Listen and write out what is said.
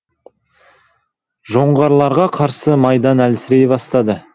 жоңғарларға қарсы майдан әлсірей бастады